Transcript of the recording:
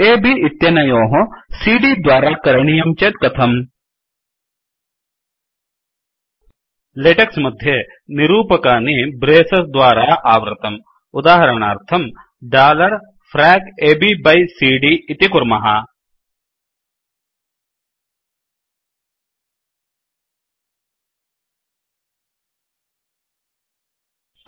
A B इत्यनयोः C D द्वारा करणीयं चेत् कथम्160 लेटेक्स् मध्ये निरूपकानि ब्रेसस् द्वारा आवृतम् उदाहरणार्थं dollar frac A B by C D frac ab by cd इति कुर्मः